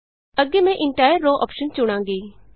ਅੱਗੇ ਮੈਂ entire row option ਚੁਣਾਂਗੀ